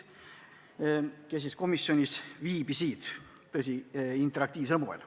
Seda, tõsi küll, interaktiivsel moel.